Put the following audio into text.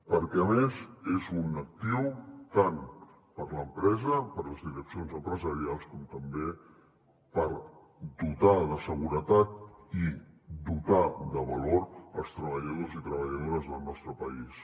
perquè a més és un actiu tant per a l’empresa per a les direccions empresarials com també per dotar de seguretat i dotar de valor als treballadors i treballadores del nostre país